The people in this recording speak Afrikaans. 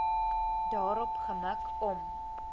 daarop gemik om